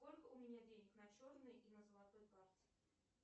сколько у меня денег на черной и на золотой карте